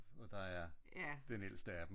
Og der er den ældste af dem